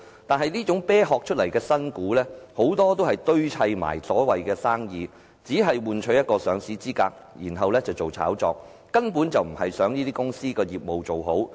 但是，這種"啤殼"出來的新股，很多都是堆砌的所謂生意，只是換取上市資格，然後炒作，根本不是想做好公司業務。